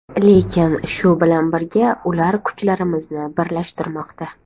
Lekin shu bilan birga ular kuchlarimizni birlashtirmoqda.